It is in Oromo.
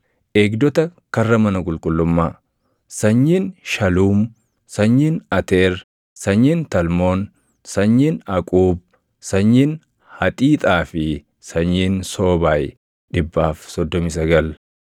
Eegdota karra mana qulqullummaa: sanyiin Shaluum, sanyiin Ateer, sanyiin Talmoon, sanyiin Aquub, sanyiin Haxiixaa fi sanyiin Soobaay 139.